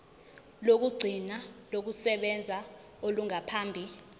lokugcina lokusebenza olungaphambi